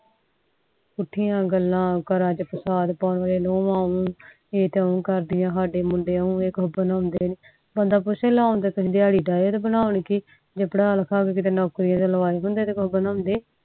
ਪੁਠੀਆਂ ਗੱਲਾਂ ਘਰਾਂ ਚ ਨੁਵਾ ਉਹ ਇਹ ਤਾ ਓਵੇਂ ਕਰਦੇ ਆ ਸਾਡੇ ਮੁੰਡੇ ਇਹ ਬੰਦਾ ਜੇ ਪੜਾ ਲਿਖਾ ਕੇ ਕੀਤੇ ਨੌਕਰੀ ਤੇ ਲਵਾਏ ਹੁੰਦੇ ਤਾ ਕੁਜ ਬਣਾਂਦੇ